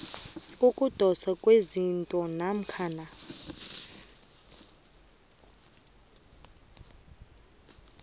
kokudoswa kwesite namkha